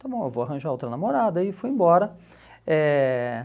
está bom, eu vou arranjar outra namorada e fui embora. Eh